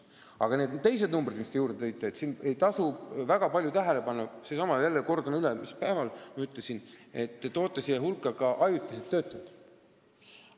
Aga nende teiste numbrite kohta, mis te siia juurde tõite, ma jälle kordan seda, mis ma päeval ütlesin: te panete siia hulka ka ajutised töötajad.